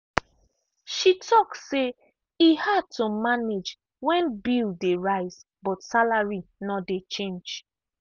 she talk say e hard to manage when bill dey rise but salary no change.